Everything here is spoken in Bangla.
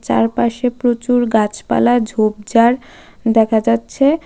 চারপাশে প্রচুর গাছপালা ঝোপ ঝাড় দেখা যাচ্ছে.